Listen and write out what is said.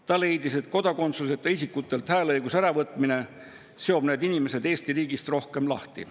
Ta leidis, et kodakondsuseta isikutelt hääleõiguse äravõtmine seob need inimesed Eesti riigist rohkem lahti.